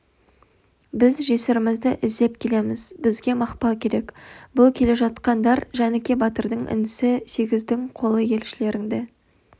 біз жесірімізді іздеп келеміз бізге мақпал керек бұл келе жатқандар жәніке батырдың інісі сегіздің қолы елшілеріңді